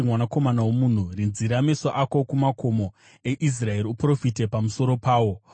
“Mwanakomana womunhu, rinzira meso ako kumakomo eIsraeri; uprofite pamusoro pawo